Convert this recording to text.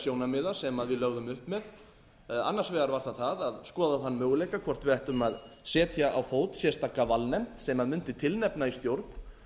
sjónarmiða sem við lögðum upp með annars vegar var það það að skoða þann möguleika hvort við ættum að setja á fót sérstaka valnefnd sem mundi tilnefna í stjórn